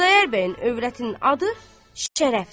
Xudayar bəyin övrətinin adı şərəfdir.